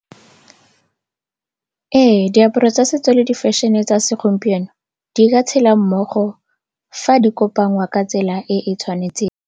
Ee, diaparo tsa setso le di-fashion-e tsa segompieno di ka tshela mmogo fa di kopangwa ka tsela e e tshwanetseng.